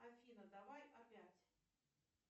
афина давай опять